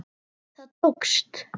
Það tókst!